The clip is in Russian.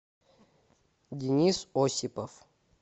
денис осипов